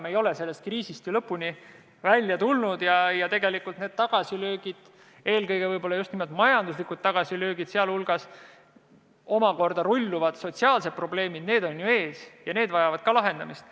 Me ei ole ju sellest kriisist lõpuni välja tulnud ja tegelikult need tagasilöögid, võib-olla eelkõige just majanduslikud tagasilöögid ja neist rulluvad sotsiaalsed probleemid, on alles ees ja vajavad samuti lahendamist.